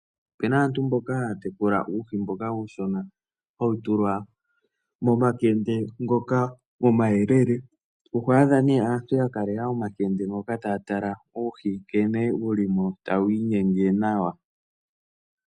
Opena aantu mboka haya tekula uuhi mboka uushona hawu tulwa momakende ngoka omayelele, oho adha ne aantu yakalela omakende ngoka taya tala uuhi nkene wulimo tawu inyenge nawa.